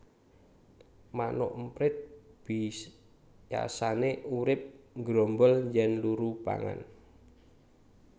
Manuk emprit biyasané urip nggrombol yèn luru pangan